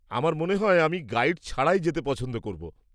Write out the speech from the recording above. আমার মনে হয় আমি গাইড ছাড়াই যেতে পছন্দ করব।